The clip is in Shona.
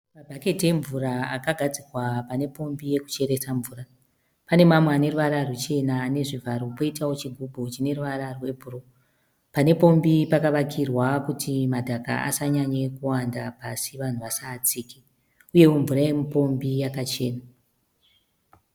Mabhaketi emvura akagadzikwa pane pombi yekucheresa mvura. Pane mamwe ane ruvara ruchena ane zvivharo poitawo chigubhu chine ruvara rwebhuru. Pane pombi pakavakirwa kuti madhaka asanyanye kuwanda pasi vanhu vasaatsike uyewo mvura yemupombi yakachena.